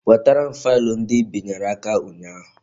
Wetere m faịlụ ndị Ị binyere aka ụnyaahụ